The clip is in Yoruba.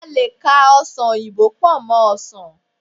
a lè ka ọsán oyinbo pò mó ọsàn